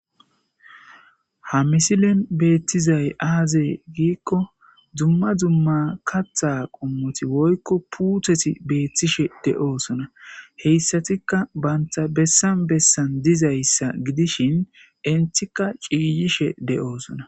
ha misilen beettizay aazee giikko dumma dumma katha qommoti woykko puutheti beethtishe de7oosona heyssatika banta bessan bessan dizayssa gidishin intika ciiyishe de7oosona